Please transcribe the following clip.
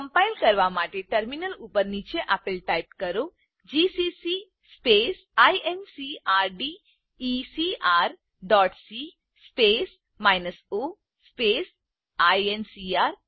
compile કરવા માટે terminal ઉપર નીચે આપેલ ટાઇપ કરો160 જીસીસી incrdecrસી o આઇએનસીઆર